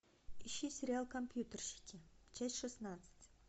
ищи сериал компьютерщики часть шестнадцать